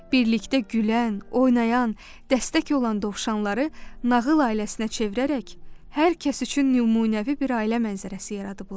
Birlikdə gülən, oynayan, dəstək olan dovşanları nağıl ailəsinə çevirərək hər kəs üçün nümunəvi bir ailə mənzərəsi yaradıblar.